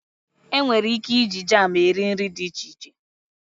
Enwere ike iji jam eri nri dị iche iche.